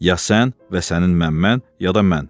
Ya sən və sənin məmmən, ya da mən.